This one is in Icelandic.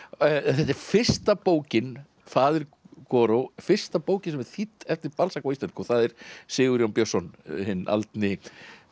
þetta er fyrsta bókin faðir fyrsta bókin sem er þýdd eftir Balzac á íslensku og það er Sigurjón Björnsson hinn aldni